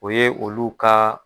O ye olu ka.